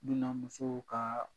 Dunanmusow ka